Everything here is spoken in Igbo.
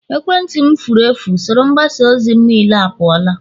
ekwentị m furu efu, usoro mgbasa ozi m niile apụọla